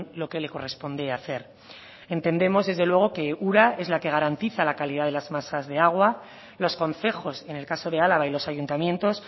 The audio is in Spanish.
lo que le corresponde hacer entendemos desde luego que ura es la que garantiza la calidad de las masas de agua los concejos en el caso de álava y los ayuntamientos